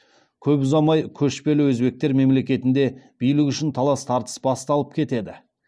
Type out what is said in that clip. көп ұзамай көшпелі өзбектер мемлекетінде билік үшін талас тартыс басталып кетеді